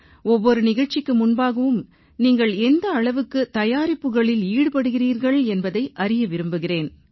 ஒவ்வொரு நிகழ்ச்சிக்கு முன்பாகவும் நீங்கள் எந்த அளவுக்கு தயாரிப்புகளில் ஈடுபடுகிறீர்கள் என்பதை அறிய விரும்புகிறேன்